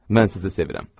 Mən sizi sevirəm.